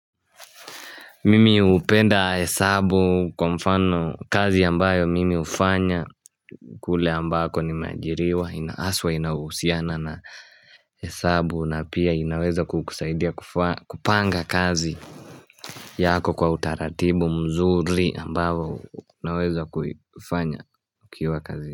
Mimi hupenda hesabu kwa mfano kazi ambayo mimi hufanya kule ambako nimeajiriwa na haswa inahusiana na hesabu na pia inaweza kukusaidia kupanga kazi yako kwa utaratibu mzuri ambayo naweza kufanya ukiwa kazi.